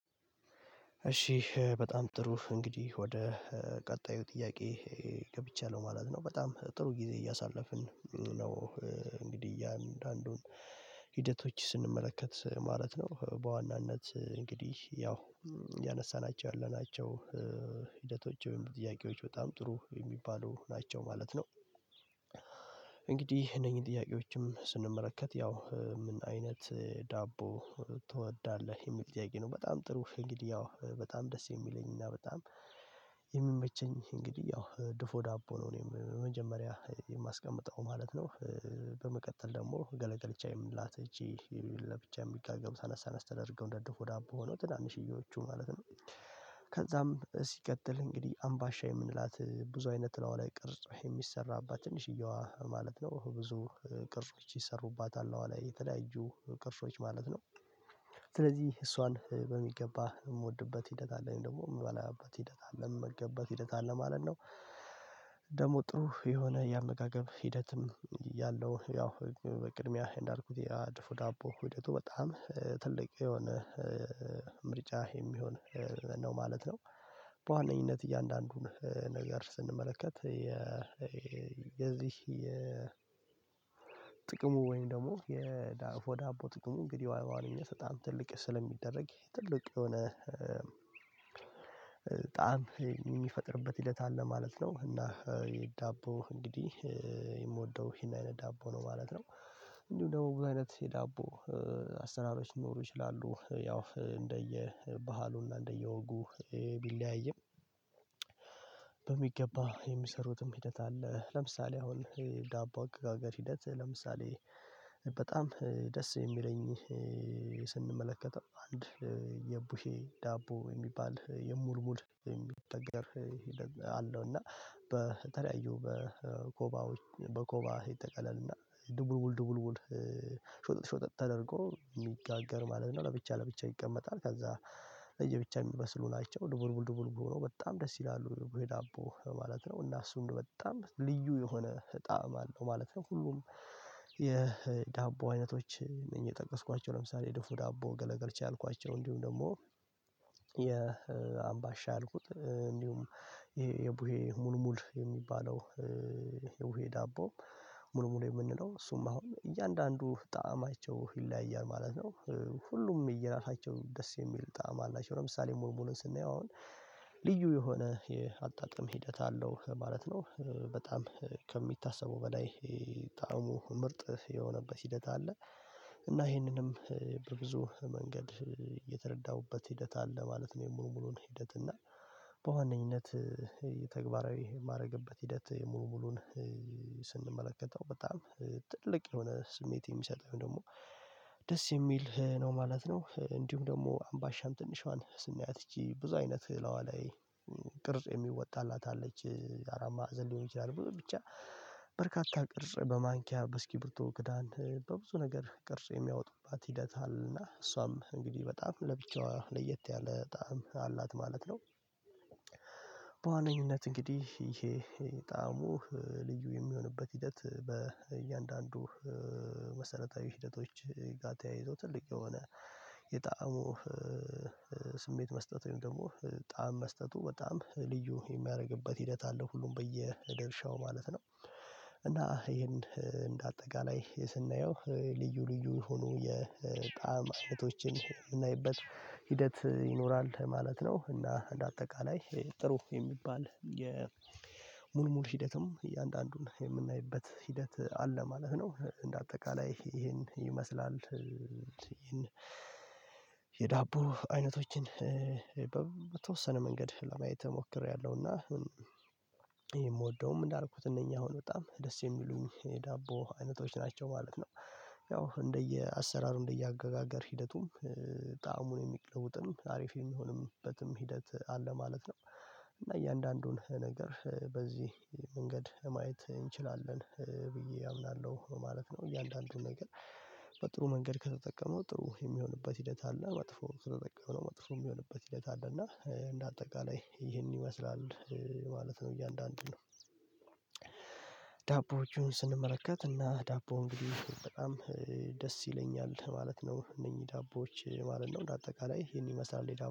እሺ በጣም ጥሩ እንግዲህ ወደ ቀጣዩ ጥያቄ ገብቻለሁ ማለት ነው። በጣም ጥሩ ጊዜ እያሳለፍን ነው። እንግዲህ እያንዳንዱን ሂደቶች ስንመለከት ማለት ነው። በዋናነት እንግዲህ ያው እያነሳናቸው ያለናቸው ሂደቶች ወይም ጥያቄዎች በጣም ጥሩ የሚባሉ ናቸው ማለት ነው። እንግዲህ እነኚህን ጥያቄዎችን ያው ምን አይነት ዳቦ ትወዳለህ? የሚል ጥያቄ ነው። በጣም ጥሩ እንግዲህ ያው በጣም ደስ የሚለኝና በጣም የሚመቸኝ እንግዲህ ያው ድፎ ዳቦ ነው እኔም መጀመሪያ የማስቀምጠው ማለት ነው። በመቀጠል ደግሞ ገለገልቻ የምንላት ይቺ ለብቻ የሚጋገሩ አነስ ተደርገው እንደ ድፉ ዳቦ ሆነው ትናንሽዮዎቹ ማለት ነው። ከዛም ሲቀጥል እንግዲህ አምባሻ የምንላት ብዙ አይነት እላይዋ ላይ ቅርጽ የሚሰራባት ትንሽዬዋ ማለት ነው። ብዙ ቅርጽ ይሰሩባታል እላይዋ ላይ የተለያዩ ቅርሶች ማለት ነው። ስለዚህ እሷን በሚገባ የምወድበት ሂደት አለኝ። ደግሞ የምበላበት ሂደት አለኝ። የምመገብበት ሂደት አለኝ ማለት ነው። ደግሞ ጥሩ የሆነ የአመጋገብ ሂደትም ያለው ያው ቅድሚያ እንዳልኩት ያ ድፎ ዳቦ ሂደቱ በጣም ትልቅ የሆነ ምርጫ የሚሆን ነው ማለት ነው። በዋነኝነት እያንዳንዱን ነገር ስንመለከት የዚህ የጥቅሙ ወይም ደግሞ የድፎ ዳቦ ጥቅሙ እንግዲህ በዋነኝነት በጣም ትልቅ ስለሚደረግ ትልቅ የሆነ ጣዕም የሚፈጥርበት ሂደት አለ ማለት ነው። እና የዳቦ እንግዲህ የምወደው ይሄን አይነት ዳቦ ነው ማለት ነው። እንዲሁም ደግሞ ብዙ አይነት የዳቦ አሰራሮች ሊኖሩ ይችላሉ። ያው እንደየ ባህሉና እንደየወጉ ቢለያይም በሚገባ የሚሰሩትም ሂደት አለ። ለምሳሌ አሁን ዳቦ አገጋገር ሂደት ለምሳሌ በጣም ደስ የሚለኝ ስንመለከተው አንድ የቡሄ ዳቦ የሙልሙል የሚጋገገር አለው። እና በተለያዩ በኮባዎች በኮባ ይጠቀለልና ድቡልቡል ድቡልቡል ሾጠጥ ሾጠጥ ተደርጎ የሚጋገር ማለት ነው። ለብቻ ለብቻ ይቀመጣል። ከዛ ለየብቻ የሚበስሉ ናቸው። ድቡልቡል ድቡልቡል ሁነው በጣም ደስ ይላሉ ቡሄ ዳቦ ማለት ነው። እና እሱን በጣም ልዩ የሆነ እጣም አለው ማለት ነው። ሁሉም የዳቦ አይነቶች እነዚህ የጠቀስኳቸው ለምሳሌ ድፎ ዳቦ ገለገልቻ ያልኳቸው እንዲሁም ደግሞ የአምባሻ ያልኩት እንዲሁም ይሄ የቡሄ ሙልሙል የሚባለው የቡሄ ዳቦ ሙልሙል የምንለው እሱም አሁን እያንዳንዱ ጣዕማቸው ይለያያል ማለት ነው። ሁሉም እየራሳቸው ደስ የሚል ጣዕም አላቸው። ለምሳሌ ሙልሙልን ስናየው አሁን ልዩ የሆነ የአጣጥም ሂደት አለው ማለት ነው። በጣም ከሚታሰበው በላይ ጣዕሙ ምርጥ የሆነበት ሂደት አለ። እና ይሄንንም ብዙ መንገድ የተረዳሁበት ሂደት አለ ማለት ነው፤ ሙሉ ሙሉን ሂደት፤ እና በዋነኝነት ተግባራዊ የማድረግበት ሂደት ሙልሙሉን ስንመለከተው በጣም ትልቅ የሆነ ስሜት የሚሰጠኝ ወይም ደግሞ ደስ የሚል ነው ማለት ነው። እንዲሁም ደግሞ አምባሻም ትንሿን ስናያት ይቺ ብዙ አይነት እላይዋ ላይ ቅርጽ የሚወጣላት አለች። አራት ማዕዘን ሊሆን ይችላል፤ ብዙ ብቻ በርካታ ቅርጽ በማንኪያ በእስኪብርቶ ክዳን በብዙ ነገር ቅርጽ የሚያወጡባት ሂደት አለና እሷም እንግዲህ በጣም ለብቻዋ ለየት ያለ ጣዕም አላት ማለት ነው። በዋነኝነት እንግዲህ ይሄ ጣዕሙ ልዩ የሚሆንበት ሂደት በእያንዳንዱ መሰረታዊ ሂደቶች ጋ ተያይዞ ትልቅ የሆነ የጣዕሙ ስሜት መስጠት ወይም ደግሞ ጣዕም መስጠቱ በጣም ልዩ የሚያደርግበት ሂደት አለው ሁሉም በየደርሻው ማለት ነው። እና ይሄን እንደ አጠቃላይ ስናየው ልዩ ልዩ ሆኖ የጣዕም አይነቶችን የምናይበት ሂደት ይኖራል። ማለት ነው። እና እንደ አጠቃላይ ጥሩ የሚባል የሙልሙል ሂደትም እያንዳንዱን የምናይበት ሂደት አለ ማለት ነው። እንደ አጠቃላይ ይሄን ይመስላል። ይሄን የዳቦ አይነቶችን በተወሰነ መንገድ ለማየት እሞክሬያለሁ። እና ይሄ የምወደውም እንዳልኩት እነኚህ አሁን በጣም ደስ የሚሉኝ የዳቦ አይነቶች ናቸው ማለት ነው። ያው እንደየ አሰራር እንደየ አገጋገር ሂደቱም ጣዕሙን የሚለውጥም አሪፍ የሚሆንበትም ሂደት አለ ማለት ነው። እና እያንዳንዱን ነገር በዚህ መንገድ ማየት እንችላለን ብዬ አምናለሁ ማለት ነው። እያንዳንዱን ነገር በጥሩ መንገድ ከተጠቀመው ጥሩ የሚሆንበት ሂደት አለ። መጥፎ ከተጠቀምነው መጥፎ የሚሆንበት ሂደት አለ። እና እንደ አጠቃላይ ይህንን ይመስላል። ማለት ነው። እያንዳንዱን ዳቦዎቹን ስንመለከት እና ዳቦ እንግዲህ በጣም ደስ ይለኛል ማለት ነው። እነኚህ ዳቦዎች ማለት ነው። እንደ አጠቃላይ ይሄን ይመስላል ዳቦ